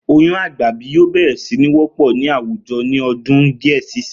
Oyún àgbàbí yóò bè̩rè̩ sí ní wó̩pò̩ ní àwùjo̩ ní ọdún díẹ̀ ṣíṣinyìí